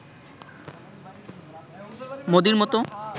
মোদির মতো